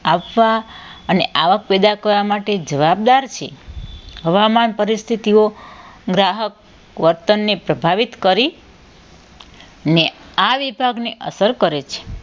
આપવા અને આવક પેદા કરવા માટે જવાબદાર છે હવામાન પરિસ્થિતિઓ ગ્રાહક વતનને પ્રભાવિત કરી ને આ વિભાગને અસર કરે છે